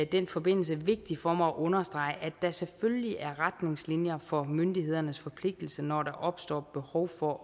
den forbindelse vigtigt for mig at understrege at der selvfølgelig er retningslinjer for myndighedernes forpligtelse når der opstår behov for